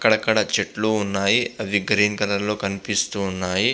అక్కడ అకడ చెట్లు ఉన్నాయి అవి గ్రీన్ కలర్ లో కనిపిస్తున్నాయి --